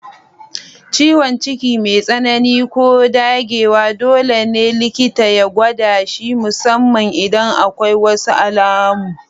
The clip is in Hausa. Ciwon ciki mai tsanani ko dagewa dole ne likita ya gwada shi, musamman idan akwai wasu alamun